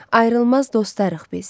Ayrılmaz dostlarıq biz.